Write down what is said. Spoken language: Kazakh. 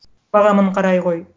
бағамын қарай ғой